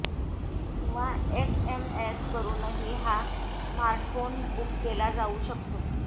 किंवा एसएमएस करूनही हा स्मार्टफोन बूक केला जाऊ शकतो